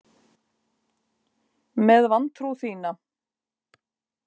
Með vantrú þína.